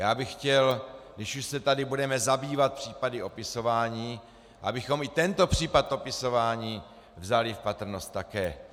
Já bych chtěl, když už se tady budeme zabývat případy opisování, abychom i tento případ opisování vzali v patrnost také.